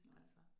Nej